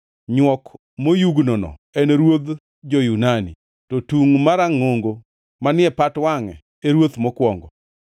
Nywok moyugnono en ruodh jo-Yunani, to tung marangʼongo manie pat wangʼe e ruoth mokwongo.